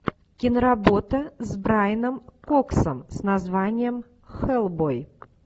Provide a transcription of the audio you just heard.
киноработа с брайаном коксом с названием хеллбой